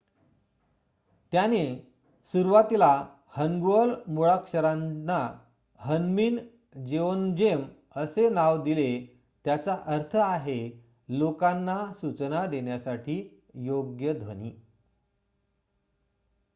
"त्याने सुरुवातील हन्गुअल मुळाक्षरांना ह्न्मीन जेओन्जेम असे नाव दिले ज्याचा अर्थ आहे "लोकांना सूचना देण्यासाठी योग्य ध्वनी ".